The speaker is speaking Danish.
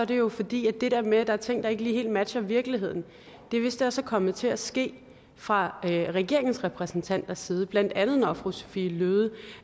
det jo fordi at det der med at der er ting der ikke lige helt matcher virkeligheden vist også er kommet til at ske fra regeringens repræsentanters side blandt andet når fru sophie løhde